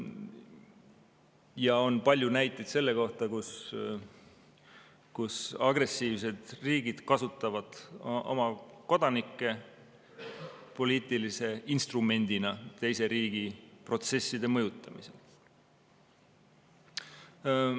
Ja on palju näiteid selle kohta, et agressiivsed riigid kasutavad oma kodanikke poliitilise instrumendina teise riigi protsesside mõjutamisel.